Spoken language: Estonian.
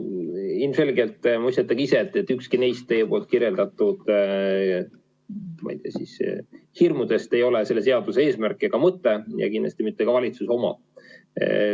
No ilmselgelt te mõistate ka ise, et ükski neist teie kirjeldatud, ma ei tea, hirmudest ei ole selle seaduse eesmärk ega mõte ja kindlasti mitte ka valitsuse oma.